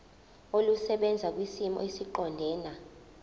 olusebenza kwisimo esiqondena